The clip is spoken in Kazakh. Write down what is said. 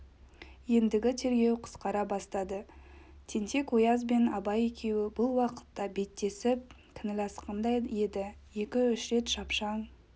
ендігі тергеу қысқара бастады тентек-ояз бен абай екеуі бұл уақытта беттесіп кінәласқандай еді екі-үш рет шапшаң